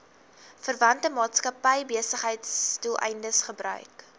verwante maatskappybesigheidsdoeleindes gebruik